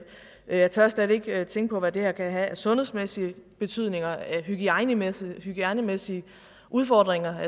jeg tør slet ikke tænke på hvad det her kan have af sundhedsmæssig betydning af hygiejnemæssige hygiejnemæssige udfordringer